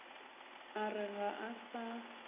a re ga a sa